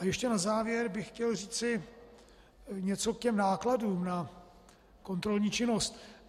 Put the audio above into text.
A ještě na závěr bych chtěl říci něco k těm nákladům na kontrolní činnost.